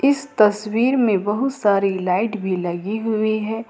इस तस्वीर में बहुत सारी लाइट भी लगी हुई है।